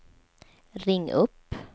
ring upp